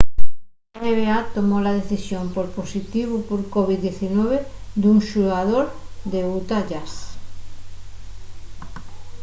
la nba tomó la decisión pol positivu por covid-19 d'un xugador del utah jazz